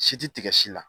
Si ti tigɛ si la